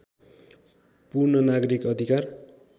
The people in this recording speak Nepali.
पूर्ण नागरिक अधिकार